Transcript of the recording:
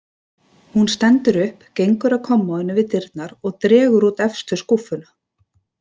Hún stendur upp, gengur að kommóðunni við dyrnar og dregur út efstu skúffuna.